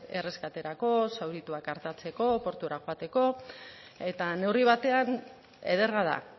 erreskaterako zaurituak artatzeko portura joateko eta neurri batean ederra da